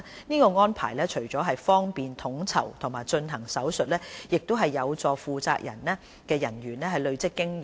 這安排除了方便統籌和進行手術外，亦有助負責人員累積經驗。